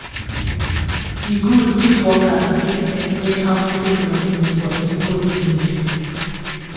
e good if workers fit explain how to take medicine for simple english